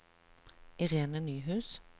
Irene Nyhus